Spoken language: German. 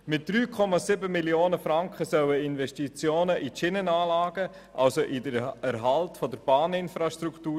Mit 3,7 Mio. Franken sollen Investitionen in die Schienenanlagen getätigt werden, also in den Erhalt der Bahninfrastruktur.